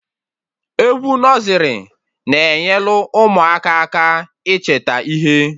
Egwu nọzrị na-enyelụ ụmụaka aka ịcheta ihe